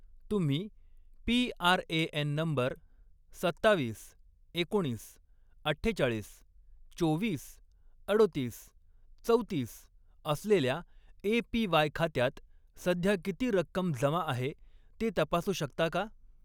तुम्ही PRAN number सत्तावीस, एकोणीस, अठ्ठेचाळीस, चोवीस, अडोतीस, चौतीस असलेल्या ए.पी.वाय. खात्यात सध्या किती रक्कम जमा आहे ते तपासू शकता का?